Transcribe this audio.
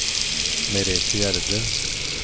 Merethe Gjerde